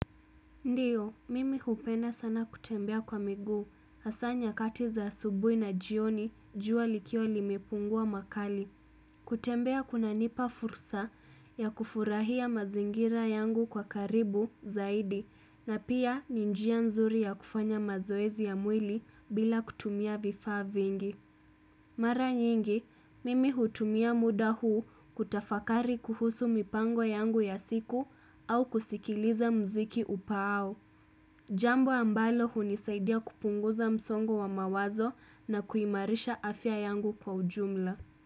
Ndio, mimi hupenda sana kutembea kwa miguu, hasa nyakati za asubuhi na jioni jua likiwa limepungua makali. Kutembea kunanipa fursa ya kufurahia mazingira yangu kwa karibu zaidi, na pia ni njia nzuri ya kufanya mazoezi ya mwili bila kutumia vifaa vingi. Mara nyingi, mimi hutumia muda huu kutafakari kuhusu mipango yangu ya siku au kusikiliza mziki upaao. Jambo ambalo hunisaidia kupunguza msongo wa mawazo na kuimarisha afya yangu kwa ujumla.